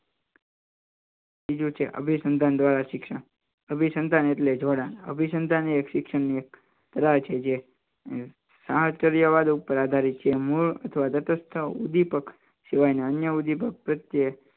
બીજું છે અભિનંદન દ્વારા શિક્ષણ અભિસંધાન એટલે જોડાણ અભિસંધાને પર આધારિત છે ઉદીપક સિવાયના અન્ય ઉદ્દીપક પ્રત્યે